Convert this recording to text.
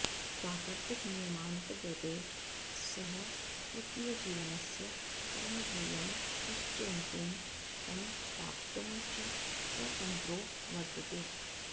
प्राकृतिकनियमान्तर्गते सः स्वकीयजीवनस्य परमध्येयं निश्चेतुं तं प्राप्तुं च स्वतंत्रो वर्त्तते